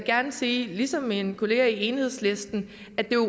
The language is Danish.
gerne sige ligesom min kollega fra enhedslisten at vi jo